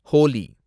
Holi